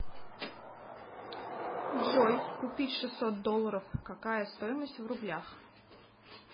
джой купить шестьсот долларов какая стоимость в рублях